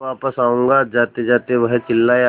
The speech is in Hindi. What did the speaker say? मैं वापस आऊँगा जातेजाते वह चिल्लाया